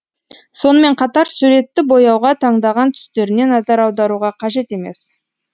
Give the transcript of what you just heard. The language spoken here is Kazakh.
сонымен қатар суретті бояуға таңдаған түстеріне назар аударуға қажет емес